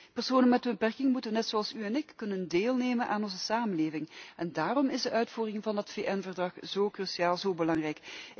Personen met een beperking moeten, net zoals u en ik, kunnen deelnemen aan onze samenleving en daarom is de uitvoering van het VN Verdrag zo cruciaal, zo belangrijk.